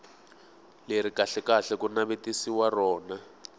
leri kahlekahle ku navetisiwaka rona